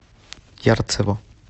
ярцево